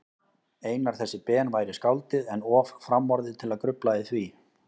Einar þessi Ben væri skáldið, en of framorðið til að grufla í því.